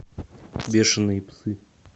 бешеные псы